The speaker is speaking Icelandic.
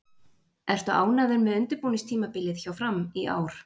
Ertu ánægður með undirbúningstímabilið hjá Fram í ár?